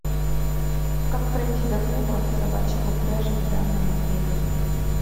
как пройти до клуба собачьих упряжек в данном отеле